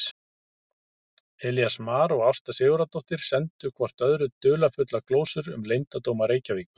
Elías Mar og Ásta Sigurðardóttir sendu hvort öðru dularfullar glósur um leyndardóma Reykjavíkur.